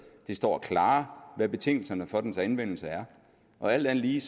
det står klarere hvad betingelserne for dens anvendelse er og alt andet lige